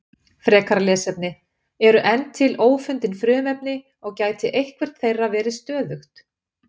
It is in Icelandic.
Frekara lesefni: Eru enn til ófundin frumefni og gæti eitthvert þeirra verið stöðugt?